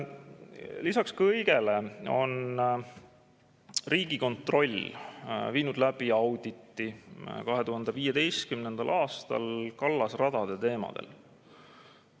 Lisaks kõigele on Riigikontroll viinud läbi auditi 2015. aastal kallasradade teemadel.